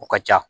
O ka ca